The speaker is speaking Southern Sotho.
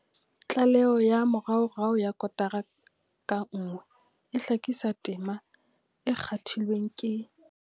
Tlaleho ya moraorao ya kotara ka nngwe e hlakisa tema e kgathilweng ke.